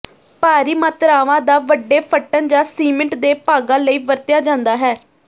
ਭਾਰੀ ਮਾਤਰਾਵਾਂ ਦਾ ਵੱਡੇ ਫਟਣ ਜਾਂ ਸੀਮਿੰਟ ਦੇ ਭਾਗਾਂ ਲਈ ਵਰਤਿਆ ਜਾਂਦਾ ਹੈ